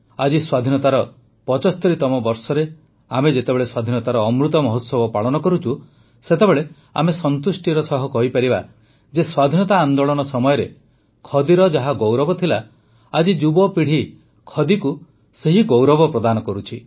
ଆଜି ସ୍ୱାଧୀନତାର ୭୫ତମ ବର୍ଷରେ ଆମେ ଯେତେବେଳେ ସ୍ୱାଧୀନତାର ଅମୃତ ମହୋତ୍ସବ ପାଳନ କରୁଛୁ ସେତେବେଳେ ଆମେ ସନ୍ତୁଷ୍ଟି ସହ କହିପାରିବା ଯେ ସ୍ୱାଧୀନତା ଆନ୍ଦୋଳନ ସମୟରେ ଖଦିର ଯାହା ଗୌରବ ଥିଲା ଆଜିର ଯୁବପିଢ଼ି ଖଦିକୁ ସେହି ଗୌରବ ପ୍ରଦାନ କରୁଛି